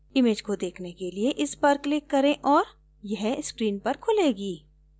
image को देखने के लिए इस पर click करें और यह screen पर खुलेगी